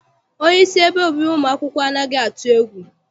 Onyeisi ebe obibi ụmụ akwụkwọ anaghị atụ egwu.